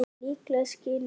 Líklega skilur